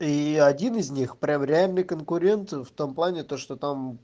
и один из них прям реальный конкурент в том плане то что-то там